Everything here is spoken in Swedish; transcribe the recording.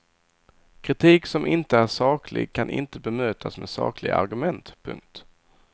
Kritik som inte är saklig kan inte bemötas med sakliga argument. punkt